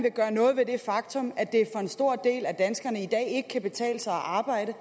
vil gøre noget ved det faktum at det for en stor del af danskernes vedkommende i dag ikke kan betale sig at arbejde